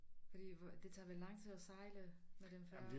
Fordi hvor det tager vel lang tid at sejle med den færge